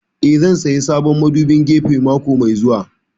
Eh, zan saya sabon madubin gefe mako mai zuwa